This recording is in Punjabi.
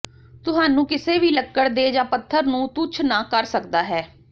ਤੁਹਾਨੂੰ ਕਿਸੇ ਵੀ ਲੱਕੜ ਦੇ ਜ ਪੱਥਰ ਨੂੰ ਤੁੱਛ ਨਾ ਕਰ ਸਕਦਾ ਹੈ